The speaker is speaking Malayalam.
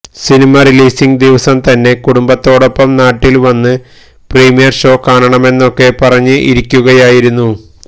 സിനിമ റിലീസിങ് ദിവസം തന്നെ കുടുംബത്തോടൊപ്പം നാട്ടില് വന്ന് പ്രീമിയര് ഷോ കാണാമെന്നൊക്കെ പറഞ്ഞ് ഇരിക്കുകയായിരുന്നു